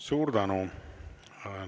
Suur tänu!